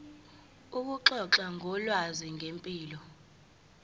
ukuxoxa ngolwazi ngempilo